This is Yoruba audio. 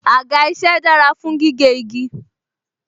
Àga isẹ dára fún gígé igi